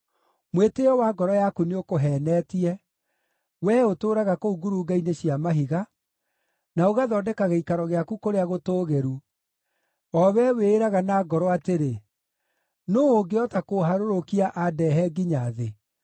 Mwĩtĩĩo wa ngoro yaku nĩũkũheenetie, wee ũtũũraga kũu ngurunga-inĩ cia mahiga, na ũgathondeka gĩikaro gĩaku kũrĩa gũtũũgĩru, o wee wĩĩraga na ngoro atĩrĩ, ‘Nũũ ũngĩhota kũũharũrũkia andehe nginya thĩ?’